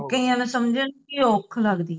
ਕਈਆਂ ਨੂੰ ਸਮਝਣ ਚ ਹੀ ਔਖ ਲਗਦੀ ਹੈ